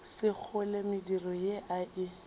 sekgole mediro ye a e